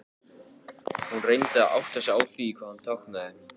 Hún reyndi að átta sig á því hvað hann táknaði.